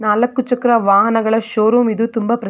ನಾಲಕ್ಕು ಚಕ್ರ ವಾಹನಗಳ ಷೋರೂಮ್ ಇದು ತುಂಬಾ --